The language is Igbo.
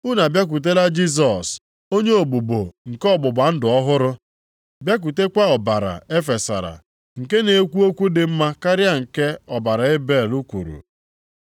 Unu abịakwutela Jisọs onye ogbugbo nke ọgbụgba ndụ ọhụrụ, bịakwutekwa ọbara e fesara nke na-ekwu okwu dị mma karịa nke ọbara Ebel kwuru.